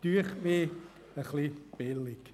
Das halte ich für etwas billig.